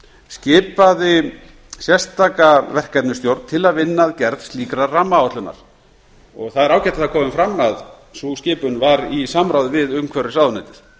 skipaði sérstaka verkefnisstjórn til að vinna að gerð slíkrar rammaáætlunar það er ágætt að það komi fram að sú skipun var í samráði við umhverfisráðuneytið